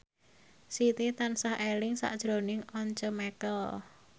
Siti tansah eling sakjroning Once Mekel